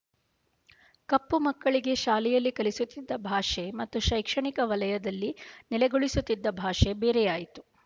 ಕಪ್ಪುಮಕ್ಕಳಿಗೆ ಶಾಲೆಯಲ್ಲಿ ಕಲಿಸುತ್ತಿದ್ದ ಭಾಷೆ ಮತ್ತು ಶೈಕ್ಷಣಿಕ ವಲಯದಲ್ಲಿ ನೆಲೆಗೊಳಿಸುತ್ತಿದ್ದ ಭಾಷೆ ಬೇರೆಯಾಯಿತು